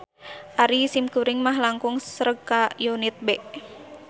Ari simkuring mah langkung sreg ka unit B